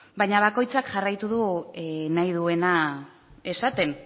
baina bakoitzak jarraitu du nahi duena esaten